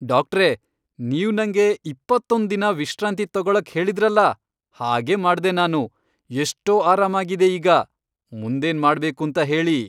ಡಾಕ್ಟ್ರೇ, ನೀವ್ ನಂಗೆ ಇಪ್ಪತ್ತೊಂದ್ ದಿನ ವಿಶ್ರಾಂತಿ ತಗೊಳಕ್ ಹೇಳಿದ್ರಲ್ಲ, ಹಾಗೇ ಮಾಡ್ದೆ ನಾನು. ಎಷ್ಟೋ ಆರಾಮಾಗಿದೆ ಈಗ. ಮುಂದೇನ್ ಮಾಡ್ಬೇಕೂಂತ ಹೇಳಿ.